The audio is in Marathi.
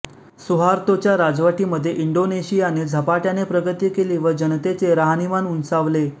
सुहार्तोच्या राजवटीमध्ये इंडोनेशियाने झपाट्याने प्रगती केली व जनतेचे राहणीमान उंचावले